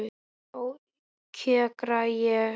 Já, kjökra ég.